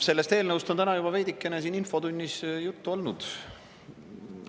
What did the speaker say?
Sellest eelnõust on täna juba veidikene siin infotunnis juttu olnud.